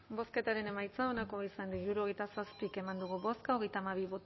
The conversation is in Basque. bozketaren emaitza onako izan da hirurogeita zazpi eman dugu bozka